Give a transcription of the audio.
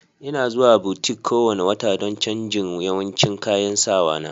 Ina zuwa butik kowane wata don canjin yawancin kayan sawa na.